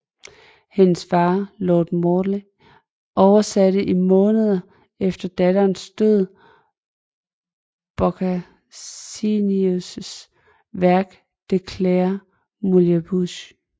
Hendes far lord Morley oversatte i månederne efter datterens død Boccaccios værk De claris mulieribus